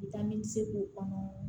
Bɛ taa nimisiko kɔnɔ